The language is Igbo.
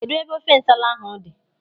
Kedụ ebe ofe nsala ahụ dị?